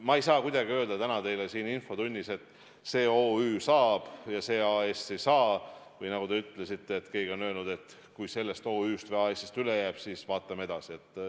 Ma ei saa kuidagi öelda täna teile siin infotunnis, et see OÜ saab ja see AS ei saa, või nagu te ütlesite, et keegi on öelnud, et kui sellest OÜ-st või AS-ist üle jääb, siis vaatame edasi.